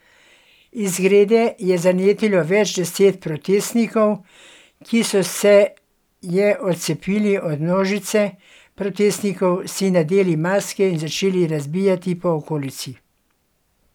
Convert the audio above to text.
Izgrede je zanetilo več deset protestnikov, ki so se je odcepili od množice protestnikov, si nadeli maske in začeli razbijati po okolici.